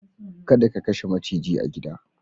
Kada ka kashe maciji a gida.